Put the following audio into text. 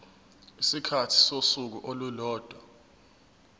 isikhathi sosuku olulodwa